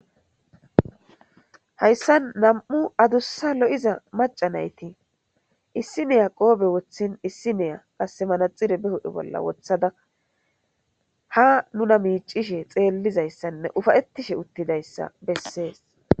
hayssan nam7u adussa lo7iza macanayti issiniya qoobe wothin issiniya qase manaxire behodhe bolla wothada ha nuna miicishe xeellizayssanne ufayettishe uttidayssa bessees